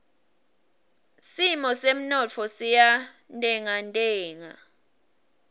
simo semnotfo siyantengantenga